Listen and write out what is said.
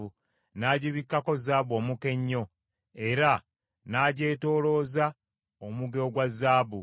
N’agibikkako zaabu omuka ennyo, era n’agyetoolooza omuge ogwa zaabu.